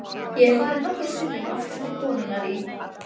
Ég hef farið nokkrum sinnum aftur til konunnar í